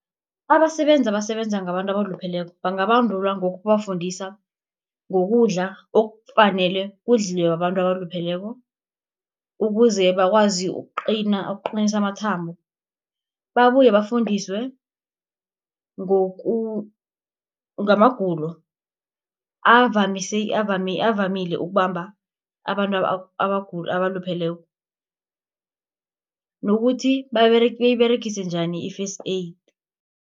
Abasebenzi abasebenza ngabantu abalupheleko, bangabandulwa ngokubafundisa ngokudla, okufanele kudliwe babantu abalupheleko, ukuze bakwazi ukuqinisa amathambo. Babuye bafundiswe ngamagulo avamile ukubamba abantu abalupheleko nokuthi niyiberegise njani i-First Aid.